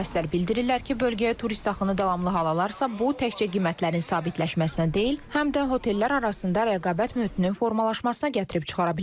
Mütəxəssislər bildirirlər ki, bölgəyə turist axını davamlı hal alarsa, bu təkcə qiymətlərin sabitləşməsinə deyil, həm də otellər arasında rəqabət mühitinin formalaşmasına gətirib çıxara bilər.